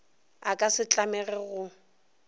a ka se tlamege go